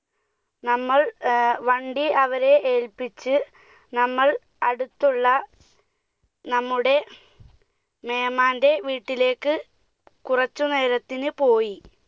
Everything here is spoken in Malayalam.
നമ്മൾ ഏർ വണ്ടി അവരെ ഏൽപ്പിച്ച് നമ്മൾ അടുത്തുള്ള നമ്മുടെ മേമാന്റെ വീട്ടിലേക്ക് കുറച്ചു നേരത്തിന് പോയി.